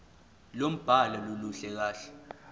lombhalo aluluhle kahle